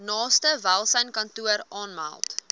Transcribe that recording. naaste welsynskantoor aanmeld